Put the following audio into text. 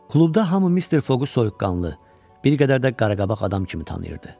Klubda hamı Mister Foqu soyuqqanlı, bir qədər də qaraqabaq adam kimi tanıyırdı.